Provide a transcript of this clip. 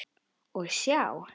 Og sjá!